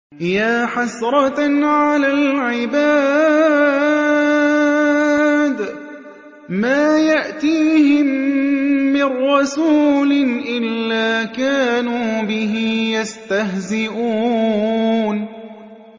يَا حَسْرَةً عَلَى الْعِبَادِ ۚ مَا يَأْتِيهِم مِّن رَّسُولٍ إِلَّا كَانُوا بِهِ يَسْتَهْزِئُونَ